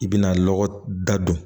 I bɛna lɔgɔda don